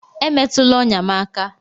Emetụla ọnya m aka!